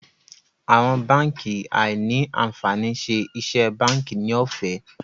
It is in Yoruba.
Àwọn bánkì áí ní ànfàní ṣe iṣé bánkì ní òfé.